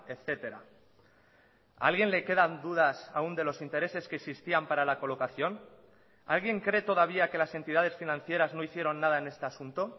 etcétera a alguien le quedan dudas aún de los intereses que existían para la colocación alguien cree todavía que las entidades financieras no hicieron nada en este asunto